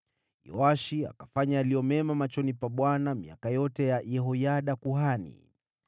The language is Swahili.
Yoashi akafanya yaliyo mema machoni pa Bwana miaka yote ya Yehoyada kuhani.